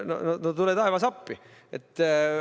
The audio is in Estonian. No tule taevas appi!